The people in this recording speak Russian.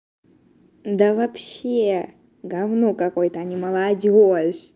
да вообще говно какое-то а не молодёжь